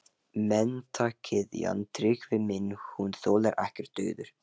Menntagyðjan, Tryggvi minn, hún þolir ekkert daður!